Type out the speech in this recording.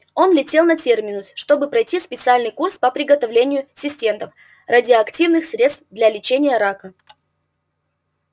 он летел на терминус чтобы пройти специальный курс по приготовлению синтетов радиоактивных средств для лечения рака